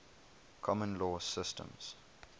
common law systems